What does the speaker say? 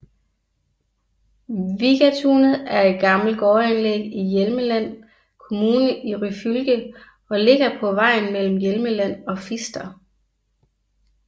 Vigatunet er et gammelt gårdanlæg i Hjelmeland kommune i Ryfylke og ligger på vejen mellem Hjelmeland og Fister